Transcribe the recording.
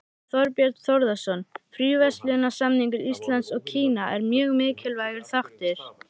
Þorbjörn Þórðarson: Fríverslunarsamningur Íslands og Kína er mjög mikilvægur þáttur?